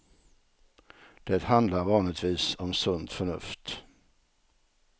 Det handlar vanligtvis om sunt förnuft.